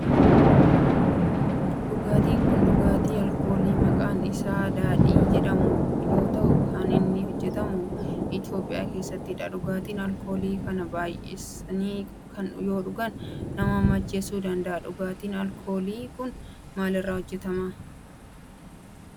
Dhugaatin kun dhugaatii alkoolii maqaan isaa daadhii jedhamu yoo ta'u kan inni hojjetamu Itiyoophiyaa keessattidha. dhugaatiin alkoolii kana baayyisanii yoo dhugaan nama macheessuu danda'a. Dhugaatin alkoolii kun maal irraa hojjetama?